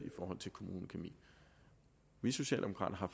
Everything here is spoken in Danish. for kommunekemi vi socialdemokrater